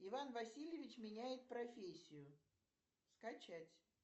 иван васильевич меняет профессию скачать